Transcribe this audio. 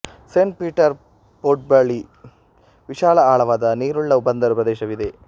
Saint Peter ಪೊರ್ಟ್ಬಳಿ ವಿಶಾಲ ಆಳವಾದ ನೀರುಳ್ಳ ಬಂದರು ಪ್ರದೇಶವಿದೆ